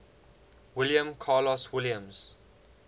william carlos williams